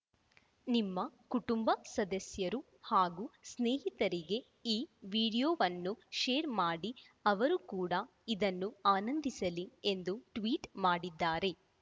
ನಿಮ್ಮ ಕುಟುಂಬ ಸದಸ್ಯರು ಹಾಗೂ ಸ್ನೇಹಿತರಿಗೆ ಈ ವಿಡಿಯೋವನ್ನು ಷೇರ್‌ ಮಾಡಿ ಅವರು ಕೂಡ ಇದನ್ನು ಆನಂದಿಸಲಿ ಎಂದು ಟ್ವೀಟ್‌ ಮಾಡಿದ್ದಾರೆ